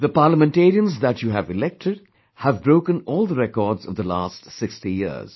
The Parliamentarians that you elected, have broken all the records of the last 60 years